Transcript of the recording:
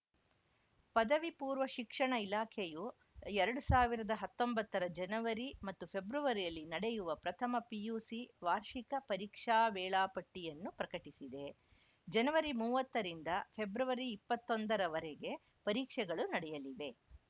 ಪದವಿಪೂರ್ವ ಶಿಕ್ಷಣ ಇಲಾಖೆಯು ಎರಡು ಸಾವಿರದ ಹತ್ತೊಂಬತ್ತರ ಜನವರಿ ಮತ್ತು ಫೆಬ್ರವರಿಯಲ್ಲಿ ನಡೆಯಲಿರುವ ಪ್ರಥಮ ಪಿಯುಸಿ ವಾರ್ಷಿಕ ಪರೀಕ್ಷಾ ವೇಳಾಪಟ್ಟಿಯನ್ನು ಪ್ರಕಟಿಸಿದೆ ಜನವರಿ ಮೂವತ್ತರಿಂದ ಫೆಬ್ರವರಿ ಇಪ್ಪತ್ತೊಂದರ ವರೆಗೆ ಪರೀಕ್ಷೆಗಳು ನಡೆಯಲಿವೆ